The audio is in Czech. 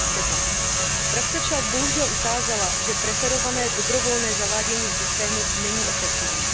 2002. Praxe však bohužel ukázala, že preferované dobrovolné zavádění systému není efektivní.